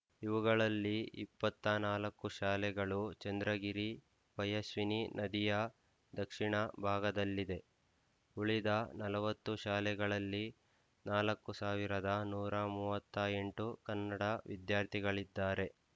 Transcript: ಇವುಗಳಲ್ಲಿ ಇಪ್ಪತ್ತ ನಾಲ್ಕುಶಾಲೆಗಳು ಚಂದ್ರಗಿರಿ ಪಯಸ್ವಿನಿ ನದಿಯ ದಕ್ಷಿಣ ಭಾಗದಲ್ಲಿದೆ ಉಳಿದ ನಲವತ್ತು ಶಾಲೆಗಳಲ್ಲಿ ನಾಲ್ಕ್ ಸಾವಿರದ ನೂರ ಮೂವತ್ತ್ ಎಂಟು ಕನ್ನಡ ವಿದ್ಯಾರ್ಥಿಗಳಿದ್ದಾರೆ